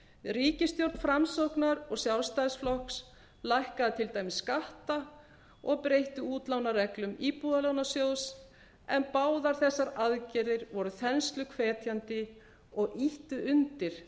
ríkisstjórn framsóknar og sjálfstæðisflokks lækkaði til dæmis skatta og breytti útlánareglum íbúðalánasjóðs en báðar þessar aðgerðir voru þensluhvetjandi og ýttu undir